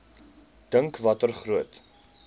dink watter groot